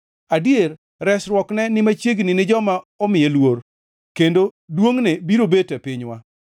Adier, resruokne ni machiegni gi joma omiye luor, kendo duongʼne biro bet e pinywa.